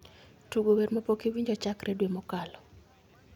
Tugo wer mapok awinji chakre dwe mokalo